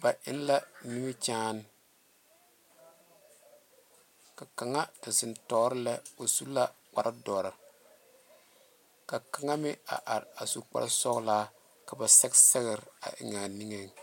ba eŋ la nimie kyɛne ka kaŋa a zeŋe tuoro lɛ o su kpaare dɔrɔ ka kaŋa meŋ are a su kpaare soɔlɔ ka ba sɛgesɛgere eŋ a be.